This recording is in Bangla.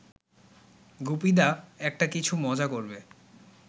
গুপিদা একটা-কিছু মজা করবে